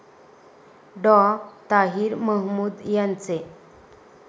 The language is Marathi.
डॉ. ताहिर महमूद यांचे